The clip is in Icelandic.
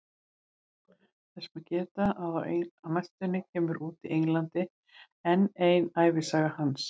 Þess má geta að á næstunni kemur út í Englandi enn ein ævisaga hans.